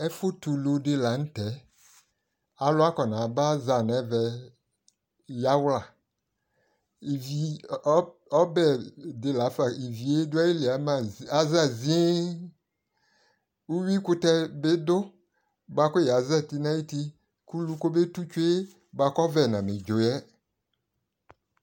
Ɛfʋtɛulu dɩ la nʋ tɛ Alʋ akɔnaba nʋ ɛvɛ yawla Ivi, ɔbɛ dɩ la fa ivi yɛ dʋ ayili yɛ aza ziee Uyuikʋtɛ bɩ dʋ bʋa kʋ yazati nʋ ayuti kʋ ulu kɔmetu tsue yɛ bʋa kʋ ɔvɛ namedzo yɛ